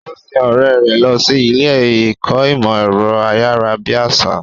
Ó sin ọ̀rẹ́ rẹ̀ lọ sí ilé ìkọ́ ìmọ̀ ẹ̀rọ ayárabíàṣá.